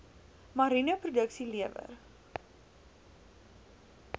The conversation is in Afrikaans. mariene produksie lewer